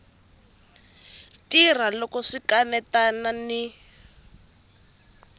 tirha loko swi kanetana ni